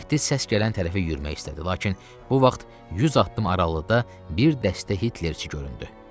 Mehdi səs gələn tərəfə yürümək istədi, lakin bu vaxt 100 addım aralıqda bir dəstə Hitlerçi göründü.